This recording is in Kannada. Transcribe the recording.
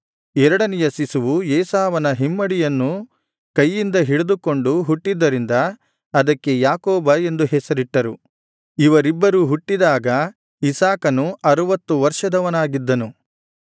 ಎರಡನೆಯ ಶಿಶುವು ಏಸಾವನ ಹಿಮ್ಮಡಿಯನ್ನು ಕೈಯಿಂದ ಹಿಡಿದುಕೊಂಡು ಹುಟ್ಟಿದ್ದರಿಂದ ಅದಕ್ಕೆ ಯಾಕೋಬ ಎಂದು ಹೆಸರಿಟ್ಟರು ಇವರಿಬ್ಬರು ಹುಟ್ಟಿದಾಗ ಇಸಾಕನು ಅರುವತ್ತು ವರ್ಷದವನಾಗಿದ್ದನು